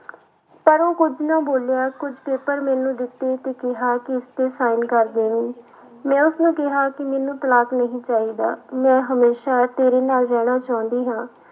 ਪਰ ਉਹ ਕੁੱਝ ਨਾ ਬੋਲਿਆ, ਕੁੱਝ ਪੇਪਰ ਮੈਨੂੰ ਦਿੱਤੇ ਤੇ ਕਿਹਾ ਕਿ ਇਸ ਤੇ sign ਕਰ ਦੇਵੀਂ, ਮੈਂ ਉਸਨੂੰ ਕਿਹਾ ਕਿ ਮੈਨੂੰ ਤਲਾਕ ਨਹੀਂ ਚਾਹੀਦਾ ਮੈਂ ਹਮੇਸ਼ਾ ਤੇਰੇ ਨਾਲ ਰਹਿਣਾ ਚਾਹੁੰਦੀ ਹਾਂ।